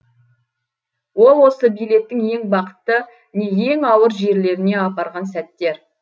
ол осы билеттің ең бақытты не ең ауыр жерлеріне апарған сәттер